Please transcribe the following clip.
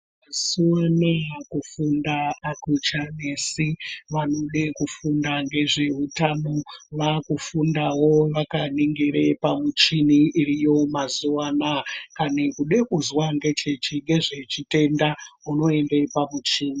Mazuva anawa kufunda akuchanesi. Vanode vanofunda ngezvehutano vaakufundawo vakaningira pamuchini iriyo mazuva anawa kana kuda kuzwa nezvechitenda unoenda pamuchini.